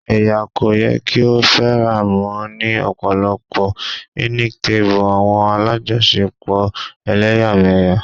Ẹya ko yẹ ki o faramọ ni ọpọlọpọ-hinic tabi awọn alajọṣepọ ẹlẹyamẹya